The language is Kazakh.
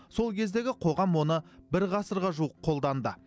сол кездегі қоғам оны бір ғасырға жуық қолданды